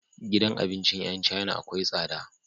Gidan abincin yan china akwai tsada